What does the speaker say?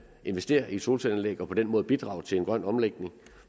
investere i solcelleanlæg og på den måde bidrage til en grøn omlægning